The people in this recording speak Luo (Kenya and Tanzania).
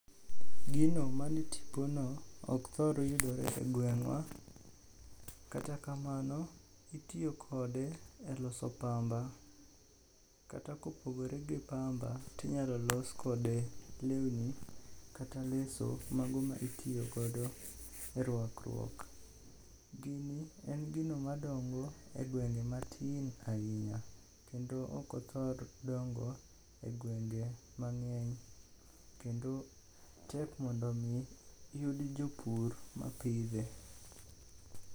Gino mane tipono ok thor yudore e gweng'wa. Kata kamano itiyo kode e loso pamba. Kata kopogore gi pamba, tinyalo los kode lewni kata leso mago ma itiyogodo e rwakruok. Gini en gino madongo e gwenge matin ahinya, kendo ok othor dongo e gwenge mang'eny kendo tek mondo omi yud jopur mapidhe.